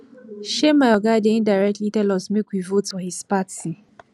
um my oga dey indirectly tell us make we vote for his party